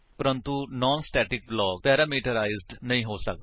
ਪ੍ਰੰਤੂ non static block parameterize ਨਹੀਂ ਹੋ ਸੱਕਦੇ